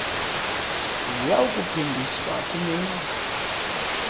ziya kuphindiswa kumenzi